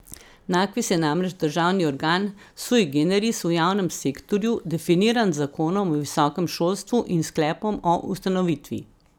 Nakvis je namreč državni organ sui generis v javnem sektorju definiran z zakonom o visokem šolstvu in sklepom o ustanovitvi.